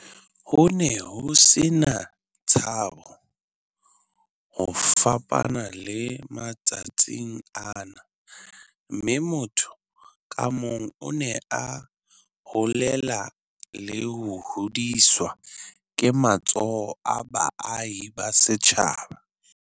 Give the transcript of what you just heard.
"Ho ne ho se na tshabo, ho fapana le matsatsing ana, mme motho ka mong o ne a holela le ho hodiswa ke matsoho a baahi ba setjhaba."